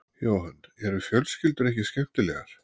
Jóhann: Eru fjölskyldur ekki skemmtilegar?